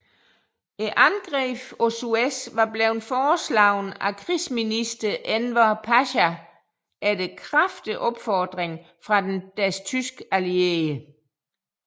Angrebet på Suez var blevet foreslået af krigsminister Enver Pasha efter kraftige opfordringer fra deres tyske allierede